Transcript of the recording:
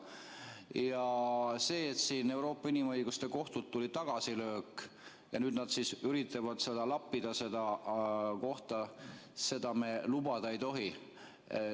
Ja see, et Euroopa Inimõiguste Kohtust tuli tagasilöök ja nüüd nad siis üritavad lappida seda kohta, seda me lubada ei tohi.